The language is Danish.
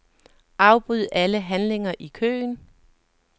Afbryd alle handlinger i køen.